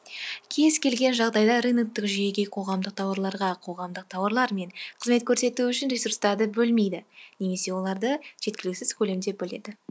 кез келген жағдайда рыноктық жүйеге қоғамдық тауарларға қоғамдық тауарлар мен кызметтер көрсету үшін ресурстарды бөлмейді немесе оларды жеткіліксіз көлемде бөледі